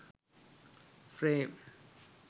frame